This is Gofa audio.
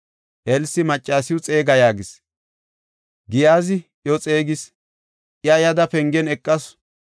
Elsi, “Maccasiw xeega” yaagis. Giyaazi iyo xeegis; iya yada, pengen eqasu.